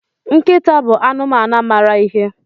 Nkịta bụ anụmanụ mara ihe.